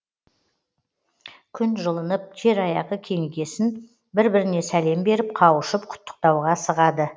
күн жылынып жер аяғы кеңігесін бір біріне сәлем беріп қауышып құттықтауға асығады